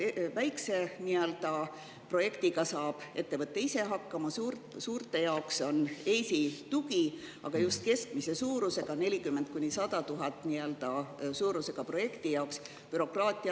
Väikese projektiga saab ettevõte ise hakkama, suurte jaoks on EIS-i tugi, aga just keskmise suurusega projekti, [mis maksab 40 000 – 100 000, takistab bürokraatia …